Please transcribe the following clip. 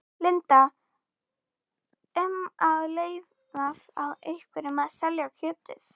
Linda: Um að leyfa þá einhverjum að selja kjötið?